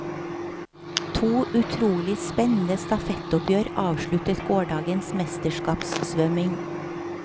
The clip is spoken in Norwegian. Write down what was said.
To utrolig spennende stafettoppgjør avsluttet gårsdagens mesterskapssvømming.